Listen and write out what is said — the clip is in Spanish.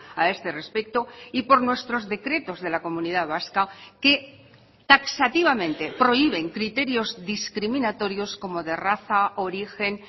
a este respecto y por nuestros decretos de la comunidad vasca que taxativamente prohíben criterios discriminatorios como de raza origen